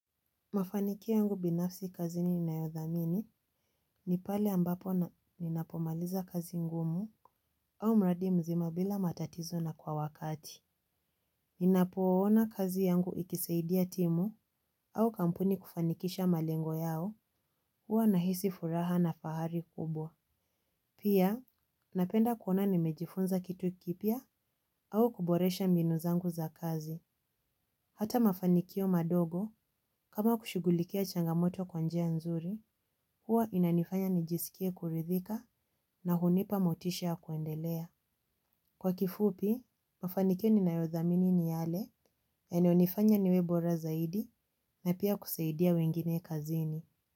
Mafanikio yangu binafsi kazi niinayodhamini ni pale ambapo ninapomaliza kazi ngumu au mradi mzima bila matatizo na kwa wakati. Ninapoona kazi yangu ikisaidia timu au kampuni kufanikisha malengo yao hua nahisi furaha na fahari kubwa. Pia napenda kuona nimejifunza kitu kipya au kuboresha mbinu zangu za kazi. Hata mafanikio madogo, kama kushugulikia changamoto kwa njia nzuri, huwa inanifanya nijisikie kuridhika na hunipa motisha ya kuendelea. Kwa kifupi, mafanikio ninayodhamini ni yale yanayonifanya niwe bora zaidi na pia kusaidia wengine kazini.